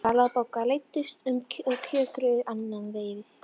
Vala og Bogga leiddust og kjökruðu annað veifið.